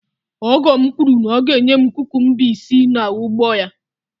ọgọ m kwuru na ọ ga-enye m kukumba si n’ugbo ya